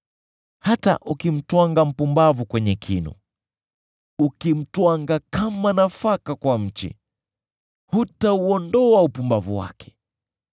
Hata ukimtwanga mpumbavu kwenye kinu, ukimtwanga kama nafaka kwa mchi, hutauondoa upumbavu wake.